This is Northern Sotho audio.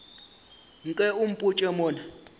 nke o mpotše mo na